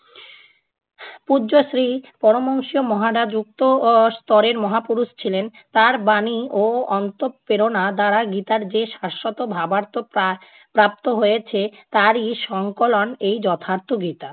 পূজ্যশ্রী পরমবংশীয় মহাডা যুক্ত আহ স্তরের মহাপুরুষ ছিলেন তার বাণী ও অন্তঃপ্রেরণা দ্বারা গীতার যে শাশ্বত ভাবার্থ প্রা~ প্রাপ্ত হয়েছে তারই সংকলন এই যথার্থ বিদ্যা।